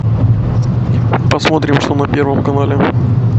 посмотрим что на первом канале